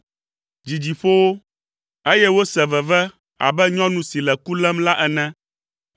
Dzidzi ƒo wo, eye wose veve abe nyɔnu si le ku lém la ene.